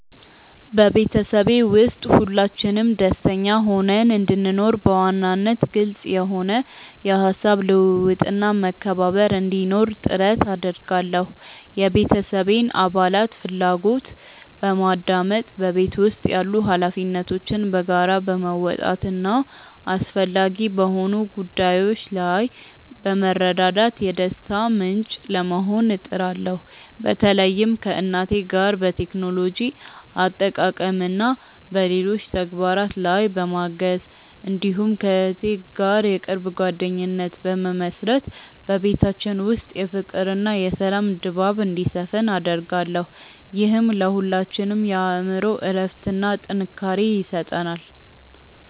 በቤተሰቤ ውስጥ ሁላችንም ደስተኛ ሆነን እንድንኖር፣ በዋናነት ግልጽ የሆነ የሐሳብ ልውውጥና መከባበር እንዲኖር ጥረት አደርጋለሁ። የቤተሰቤን አባላት ፍላጎት በማድመጥ፣ በቤት ውስጥ ያሉ ኃላፊነቶችን በጋራ በመወጣትና አስፈላጊ በሆኑ ጉዳዮች ላይ በመረዳዳት የደስታ ምንጭ ለመሆን እጥራለሁ። በተለይም ከእናቴ ጋር በቴክኖሎጂ አጠቃቀምና በሌሎች ተግባራት ላይ በማገዝ፣ እንዲሁም ከእህቴ ጋር የቅርብ ጓደኝነት በመመሥረት በቤታችን ውስጥ የፍቅርና የሰላም ድባብ እንዲሰፍን አደርጋለሁ። ይህም ለሁላችንም የአእምሮ እረፍትና ጥንካሬ ይሰጠናል።